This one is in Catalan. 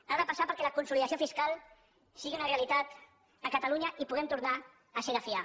ha de passar perquè la consolidació fiscal sigui una realitat a catalunya i puguem tornar a ser de fiar